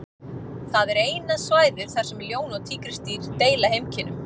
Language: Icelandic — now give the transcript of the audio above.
Það er eina svæðið þar sem ljón og tígrisdýr deila heimkynnum.